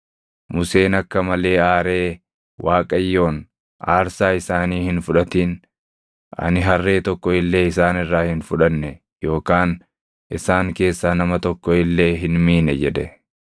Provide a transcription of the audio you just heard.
Museen akka malee aaree Waaqayyoon, “Aarsaa isaanii hin fudhatin. Ani harree tokko illee isaan irraa hin fudhanne yookaan isaan keessaa nama tokko illee hin miine” jedhe.